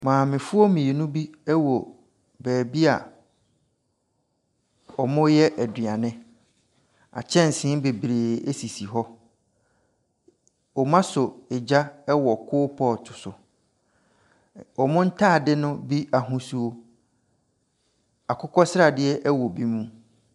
Maamefoɔ mmienu bi wɔ beebi a wɔreyɛ aduane, akyɛnse bebree sisi hɔ. wɔasɔ gya wɔ koropɔɔto so. Wɔn ntaade no bi ahosu, akokɔsradeɛ wɔ bi mu.